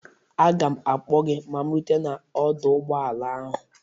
Aga m akpọ gị ma rutee n'ọdọ ụgbọala ahụ.